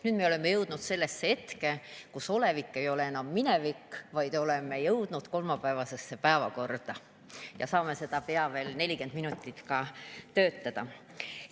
Nüüd me oleme jõudnud sellesse hetke, kus olevik ei ole enam minevik, vaid oleme jõudnud kolmapäevasesse päevakorda ja saame täna sel moel veel pea 40 minutit töötada.